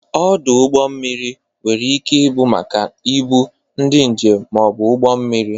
Ọdụ ụgbọ mmiri nwere ike ị bụ maka ibu, ndị njem ma ọ bụ ụgbọ mmiri.